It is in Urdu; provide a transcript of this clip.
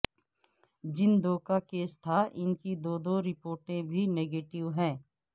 جن دو کا کیس تھا انکی دو دو رپورٹیں بھی نگیٹیو ہیں